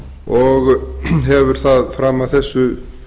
og hefur það fram að þessu